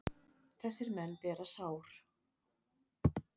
Þess bera menn sár.